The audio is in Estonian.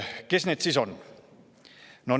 Kes need siis on?